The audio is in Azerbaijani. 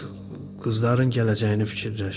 qızların gələcəyini fikirləş.